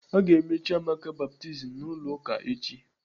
Aga eme Chiamaka baptizim n'ụlọ ụka echi.